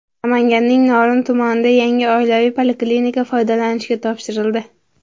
Namanganning Norin tumanida yangi oilaviy poliklinika foydalanishga topshirildi.